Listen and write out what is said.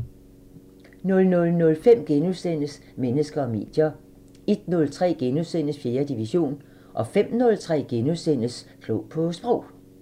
00:05: Mennesker og medier * 01:03: 4. division * 05:03: Klog på Sprog *